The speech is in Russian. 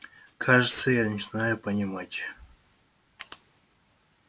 кажется я начинаю понимать